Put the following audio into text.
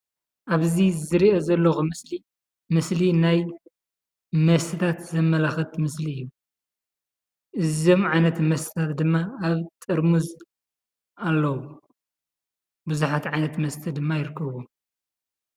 ኣብዚ ዝሪኦ ዘለኹ ምስሊ ምስሊ ናይ መስተታት ዘመላኽት ምስሊ እዩ። እዞም ዓይነታት መስተታት ድማ ኣብ ጥርሙዝ ኣለዉ። ቡዙሓት ዓይነት መስተ ድማ ይርከብዎም።